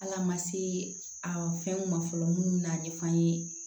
Ala ma se a fɛnw ma fɔlɔ minnu bɛna ɲɛfɔ an ye